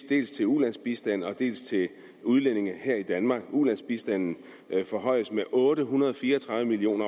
dels til ulandsbistand dels til udlændinge her i danmark ulandsbistanden forhøjes med otte hundrede og fire og tredive million